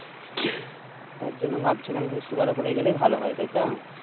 তার জন ভাবছিলাম খানিক সুকাল করে গেলেই ভালো হয় তাই তো